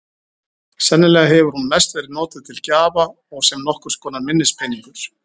Sennilega hefur hún mest verið notuð til gjafa og sem nokkurs konar minnispeningur.